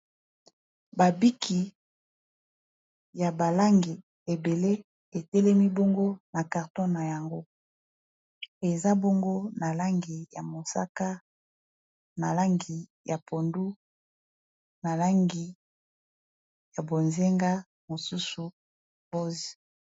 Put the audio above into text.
Ba biki ya ba langi ebele etelemi bongo na carton na yango. Eza bongo na langi ya mosaka, na langi ya pondu, na langi ya bozenga, mosusu rose.